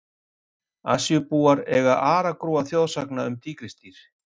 Asíubúar eiga aragrúa þjóðsagna um tígrisdýr.